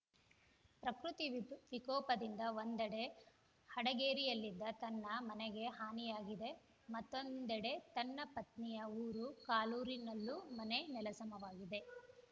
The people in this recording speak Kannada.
ಪ್ರಕೃತಿ ವಿಕೋಪದಿಂದ ಒಂದೆಡೆ ಹಡಗೇರಿಯಲ್ಲಿದ್ದ ತನ್ನ ಮನೆಗೆ ಹಾನಿಯಾಗಿದೆ ಮತ್ತೊಂದೆಡೆ ತನ್ನ ಪತ್ನಿಯ ಊರು ಕಾಲೂರಿನಲ್ಲೂ ಮನೆ ನೆಲಸಮವಾಗಿದೆ